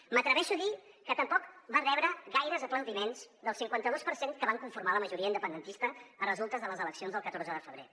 m’atreveixo a dir que tampoc va rebre gaires aplaudiments del cinquanta dos per cent que va conformar la majoria independentista a resultes de les eleccions del catorze de febrer